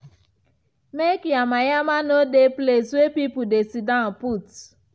make yama yama no dey place wey people dey siddan put